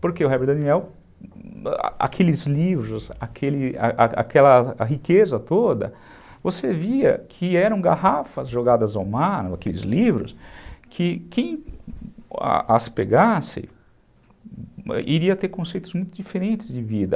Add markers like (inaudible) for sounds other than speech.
Porque o Herbert Daniel, a aqueles livros, (unintelligible) aquela riqueza toda, você via que eram garrafas jogadas ao mar, aqueles livros, que quem as pegasse, iria ter conceitos muito diferentes de vida.